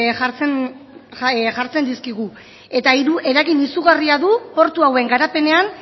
jartzen dizkigu eta eragin izugarria du portu hauen garapenean